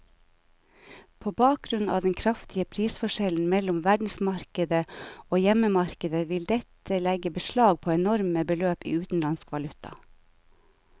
På grunn av den kraftige prisforskjellen mellom verdensmarkedet og hjemmemarkedet vil dette legge beslag på enorme beløp i utenlandsk valuta.